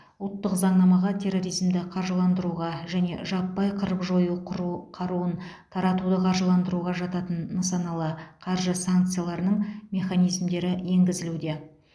ұлттық заңнамаға терроризмді қаржыландыруға және жаппай қырып жою құру қаруын таратуды қаржыландыруға жататын нысаналы қаржы санкцияларының механизмдері енгізілуде